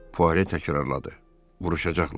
Puare təkrarladı: Vuruşacaqlar.